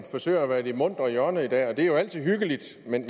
forsøger at være i det muntre hjørne i dag og det er jo altid hyggeligt men